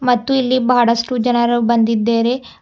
ಮತ್ತು ಇಲ್ಲಿ ಬಹಳಷ್ಟು ಜನರು ಬಂದ್ದಿದ್ದೆರೆ.